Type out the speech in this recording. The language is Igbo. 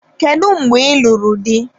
Kedu mgbe ị lụrụ di?